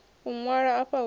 u ṅwalwa afha hu si